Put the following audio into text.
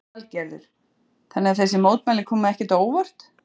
Lillý Valgerður: Þannig að þessi mótmæli koma ekkert á óvart?